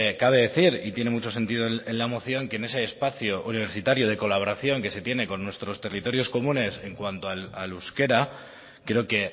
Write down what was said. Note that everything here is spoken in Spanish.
cabe decir y tiene mucho sentido en la moción que en ese espacio universitario de colaboración que se tiene con nuestros territorios comunes en cuanto al euskera creo que